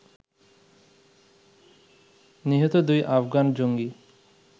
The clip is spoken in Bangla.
নিহত দুই আফগান জঙ্গি